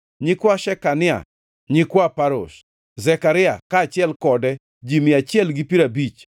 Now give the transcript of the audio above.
nyikwa Shekania; nyikwa Parosh, Zekaria, kaachiel kode ji mia achiel gi piero abich;